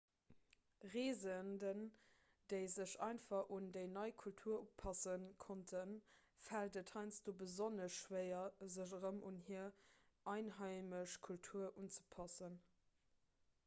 reesenden déi sech einfach un déi nei kultur upasse konnten fält et heiansdo besonnesch schwéier sech erëm un hir einheimesch kultur unzepassen